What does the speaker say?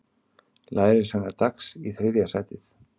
Lærisveinar Dags í þriðja sætið